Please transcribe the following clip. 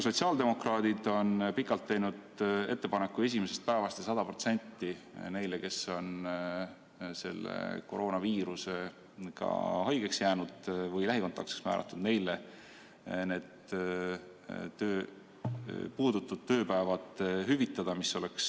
Sotsiaaldemokraadid on ammu teinud ettepaneku esimesest päevast neile, kes on koroonaviiruse tõttu haigeks jäänud või lähikontaktseks määratud, need puudutud tööpäevad hüvitada, 100%.